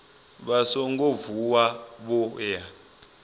vha songo vuwa vho ya